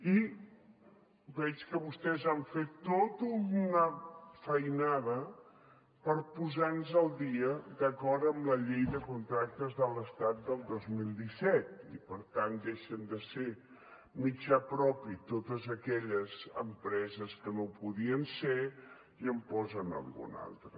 i veig que vostès han fet tot una feinada per posar nos al dia d’acord amb la llei de contractes de l’estat del dos mil disset i per tant deixen de ser mitjà propi totes aquelles empreses que no ho podien ser i en posen alguna altra